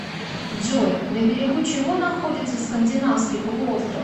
джой на берегу чего находится скандинавский полуостров